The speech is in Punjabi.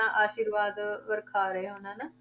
ਆਪਣਾ ਆਸ਼ਿਰਵਾਦ ਵਰਖਾ ਰਹੇ ਹੋਣ ਹਨਾ।